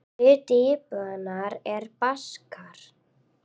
Hluti íbúanna er Baskar.